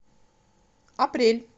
апрель